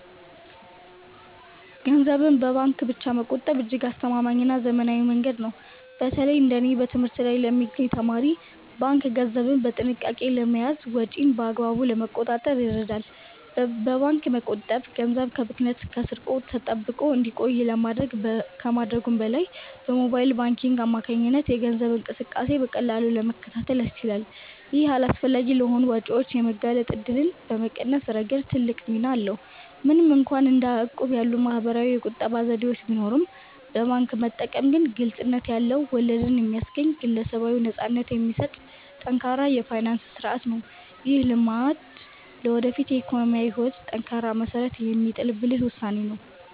ገንዘብን በባንክ ብቻ መቆጠብ እጅግ አስተማማኝና ዘመናዊ መንገድ ነው። በተለይ እንደ እኔ በትምህርት ላይ ለሚገኝ ተማሪ፣ ባንክ ገንዘብን በጥንቃቄ ለመያዝና ወጪን በአግባቡ ለመቆጣጠር ይረዳል። በባንክ መቆጠብ ገንዘብ ከብክነትና ከስርቆት ተጠብቆ እንዲቆይ ከማድረጉም በላይ፣ በሞባይል ባንኪንግ አማካኝነት የገንዘብ እንቅስቃሴን በቀላሉ ለመከታተል ያስችላል። ይህም አላስፈላጊ ለሆኑ ወጪዎች የመጋለጥ እድልን በመቀነስ ረገድ ትልቅ ሚና አለው። ምንም እንኳን እንደ እቁብ ያሉ ማኅበራዊ የቁጠባ ዘዴዎች ቢኖሩም፣ በባንክ መጠቀም ግን ግልጽነት ያለው፣ ወለድ የሚያስገኝና ግለሰባዊ ነፃነትን የሚሰጥ ጠንካራ የፋይናንስ ሥርዓት ነው። ይህ ልማድ ለወደፊት የኢኮኖሚ ሕይወት ጠንካራ መሠረት የሚጥል ብልህ ውሳኔ ነው።